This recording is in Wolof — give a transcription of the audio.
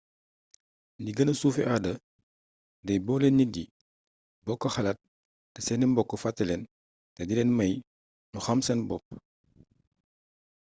lu gëna suufé aada day boolé nit yi bokk xalaat té séni mbokk fattélén té dilén may ñu xam seen bopp